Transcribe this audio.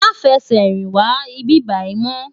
Má fè sè rin wá ibibàyi mò